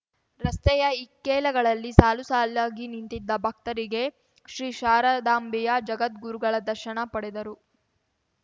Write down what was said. ರಸ್ತೆಯ ಇಕ್ಕೆಲಗಳಲ್ಲಿ ಸಾಲುಸಾಲಾಗಿ ನಿಂತಿದ್ದ ಭಕ್ತರಿಗೆ ಶ್ರೀ ಶಾರದಾಂಬೆಯ ಜಗದ್ಗುರುಗಳ ದರ್ಶನ ಪಡೆದರು